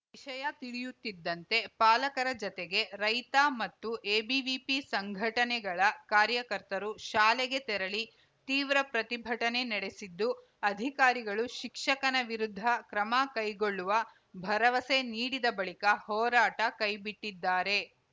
ವಿಷಯ ತಿಳಿಯುತ್ತಿದ್ದಂತೆ ಪಾಲಕರ ಜತೆಗೆ ರೈತ ಮತ್ತು ಎಬಿವಿಪಿ ಸಂಘಟನೆಗಳ ಕಾರ್ಯಕರ್ತರು ಶಾಲೆಗೆ ತೆರಳಿ ತೀವ್ರ ಪ್ರತಿಭಟನೆ ನಡೆಸಿದ್ದು ಅಧಿಕಾರಿಗಳು ಶಿಕ್ಷಕನ ವಿರುದ್ಧ ಕ್ರಮ ಕೈಗೊಳ್ಳುವ ಭರವಸೆ ನೀಡಿದ ಬಳಿಕ ಹೋರಾಟ ಕೈಬಿಟ್ಟಿದ್ದಾರೆ